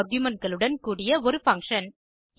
argumentகளுடன் கூடிய ஒரு பங்ஷன்